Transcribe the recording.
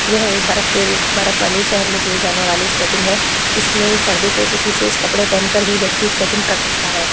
यह एक बरफ के रू बरफ वाले शहर में किए जाने वाली स्केटिंग है। इसमें सर्दी के कुछ विशेष कपड़े पहनकर ही व्यक्ति स्केटिंग कर सकता है।